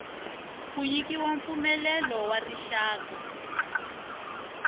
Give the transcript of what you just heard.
ku nyikiwa mpfumelelo wa rixaka